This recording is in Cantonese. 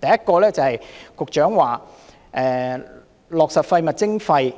第一，局長說落實垃圾徵費